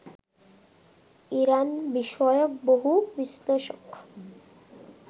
Iran বিষয়ক বহু বিশ্লেষক